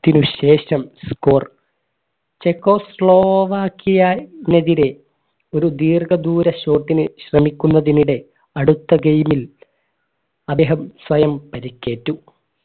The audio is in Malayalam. ത്തിന് ശേഷം score ചെക്കോസ്ലോവാക്കിയാ നെതിരെ ഒരു ദീർഘദൂര shot ന് ശ്രമിക്കുന്നതിനിടെ അടുത്ത game ൽ അദ്ദേഹം സ്വയം പരിക്കേറ്റു